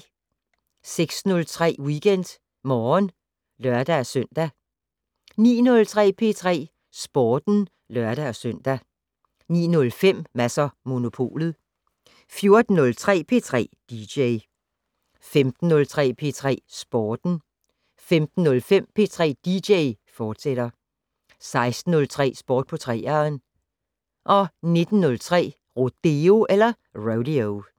06:03: WeekendMorgen (lør-søn) 09:03: P3 Sporten (lør-søn) 09:05: Mads & Monopolet 14:03: P3 dj 15:03: P3 Sporten 15:05: P3 dj, fortsat 16:03: Sport på 3'eren 19:03: Rodeo